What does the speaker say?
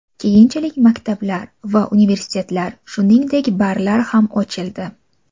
Keyinchalik maktablar va universitetlar, shuningdek, barlar ham ochildi.